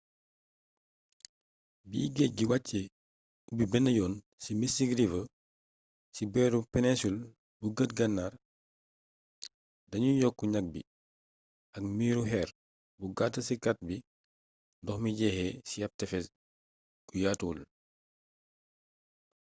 bi géej gi wàccee ubbi benn yoon ci mystic river ci booru peninsul bu bët gannaar dañuy yokk ñag bi ak miiiru xeer bu gàtt ci cat bi ndox mi jeexee ci ab tefes gu yaatuwul